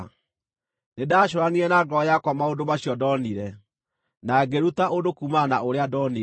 Nĩndacũũranirie na ngoro yakwa maũndũ macio ndonire, na ngĩĩruta ũndũ kuumana na ũrĩa ndonire: